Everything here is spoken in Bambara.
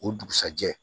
O dugusajɛ